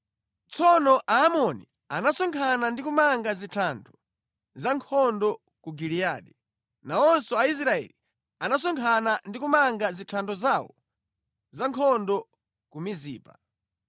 Tsono Aamoni anasonkhana ndi kumanga zithando za nkhondo ku Giliyadi. Nawonso Aisraeli anasonkhana ndi kumanga zithando zawo za nkhondo ku Mizipa.